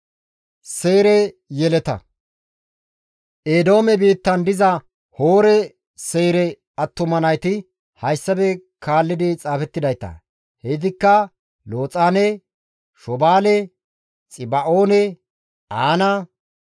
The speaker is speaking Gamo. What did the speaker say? Eedoome biittan diza Hoore Seyre attuma nayti hayssafe kaalli xaafettidayta; heytikka Looxaane, Shobaale, Xiba7oone, Aana,